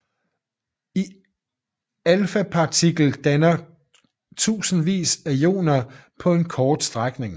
En alfapartikel danner tusindvis af ioner på en kort strækning